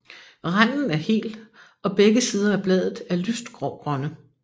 Randen er hel og begge sider af bladet er lyst grågrønne